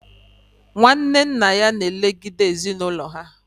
Nwanne nna ya na elegide ezinụlọ ha